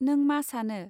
नों मा सानो.